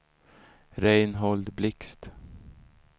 Reinhold Blixt